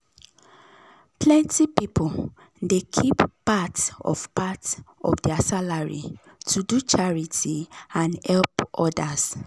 plenty people dey keep part of part of their salary to do charity and help others.